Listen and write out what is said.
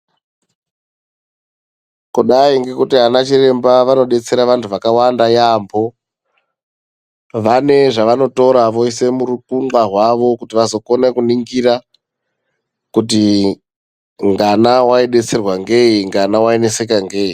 Kudai ngekuti anachiremba vanobetsera vantu vakawanda yambo vanezvanotora voise murukungwa hwavo kuti vazokone kunongira kuti ngana waibetserwa ngei ngana waineseka ngei.